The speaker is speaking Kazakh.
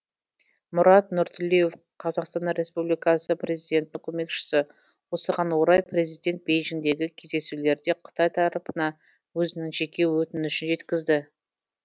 мұрат нұртілеуов қазақстан республикасы президентінің көмекшісі осыған орай президент бейжіңдегі кездесулерде қытай тарапына өзінің жеке өтінішін жеткізді